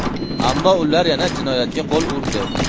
Ammo ular yana jinoyatga qo‘l urdi.